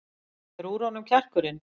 Er úr honum kjarkurinn?